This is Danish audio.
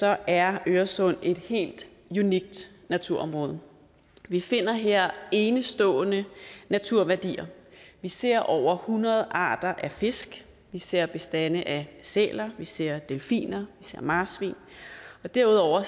er øresund et helt unikt naturområde vi finder her enestående naturværdier vi ser over hundrede arter af fisk vi ser bestande af sæler vi ser delfiner vi ser marsvin og derudover